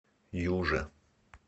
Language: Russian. юже